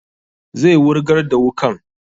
Zai wurgar da wukan